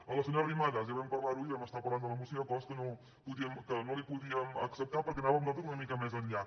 a la senyora arrimadas ja vam parlar·ho ahir vam estar parlant de la moció hi ha coses que no li po·díem acceptar perquè anàvem nosaltres una mica més enllà